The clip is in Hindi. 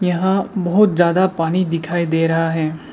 यहां बहुत ज्यादा पानी दिखाई दे रहा है।